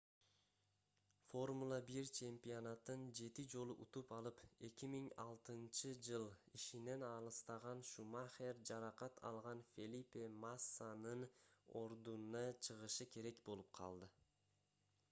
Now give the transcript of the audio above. формула-1 чемпионатын 7 жолу утуп алып 2006-ж ишинен алыстаган шумахер жаракат алган фелипе массанын ордуна чыгышы керек болуп калды